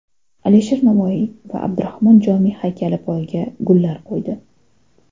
Alisher Navoiy va Abdurahmon Jomiy haykali poyiga gullar qo‘ydi.